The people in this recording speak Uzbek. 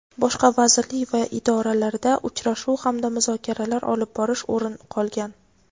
boshqa vazirlik va idoralarida uchrashuv hamda muzokaralar olib borish o‘rin olgan.